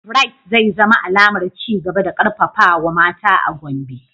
Bright zai zama alamar ci gaba da karfafawa mata a Gombe.